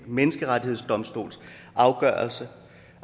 menneskerettighedsdomstols afgørelser